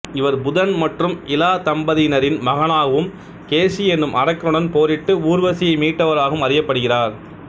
இவர் புதன் மற்றும் இலா தம்பதியினரின் மகனாகவும் கேசி எனும் அரக்கனுடன் போரிட்டு ஊர்வசியை மீட்டவராகவும் அறியப்படுகிறார்